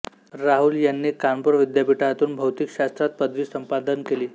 राहूल यांनी कानपूर विद्यापीठातून भौतिकशास्त्रात पदवी संपादन केली